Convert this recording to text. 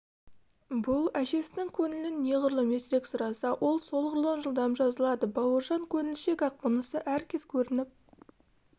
бұл әжесінің көңілін неғұрлым ертерек сұраса ол солғұрлым жылдам жазылады бауыржан көңілшек-ақ мұнысы әр кез көрініп